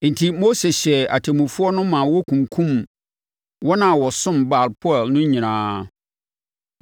Enti, Mose hyɛɛ atemmufoɔ no ma wɔkunkumm wɔn a wɔsomm Baal-peor no nyinaa.